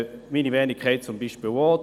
Meine Wenigkeit hat das auch erlebt.